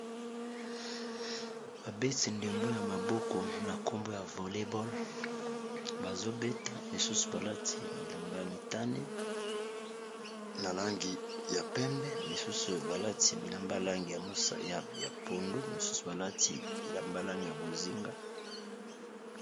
Awa bilenge mibali bazali kobeta ndembo ba bengi na lopoto Volley Ball. Baza bongo biteni mibale. Liboso balati langi ya motane na ngambo langi ya bozinga.